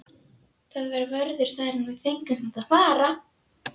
Það var vörður þar en við fengum samt að fara.